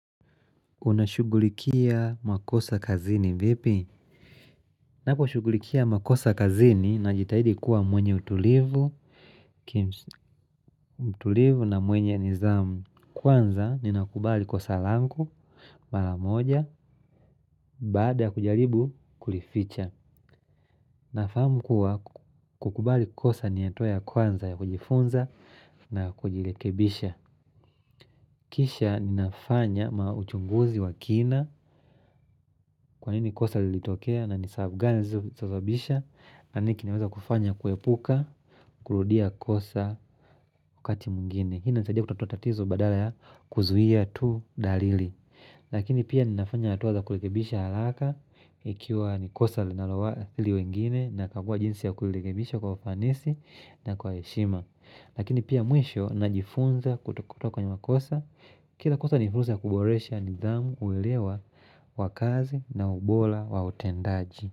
Unashughulikia makosa kazini vipi? Naposhughulikia makosa kazini na jitahidi kuwa mwenye utulivu na mwenye nizamu. Kwanza ni nakubali kosa langu, maramoja, baada ya kujaribu kulificha. Nafahamu kuwa kukubali kosa ni hatua ya kwanza ya kujifunza na kujilekebisha. Kisha ninafanya mauchunguzi wa kina kwa nini kosa lilitokea na ni sababu gani zizobisha na nikinaweza kufanya kuepuka, kurudia kosa wakati mwingine Hii nisaidia kutatua tatizo badala ya kuzuia tu dalili Lakini pia ninafanya hatua za kulekebisha haraka Ikiwa nikosa linaloa hili wengine na kakua jinsi ya kurekebisha kwa ufanisi na kwa heshima Lakini pia mwisho najifunza kutokoto kwenye makosa Kila kosa ni ruhusa ya kuboresha nidhamu uwelewa wakazi na ubora wa utendaji.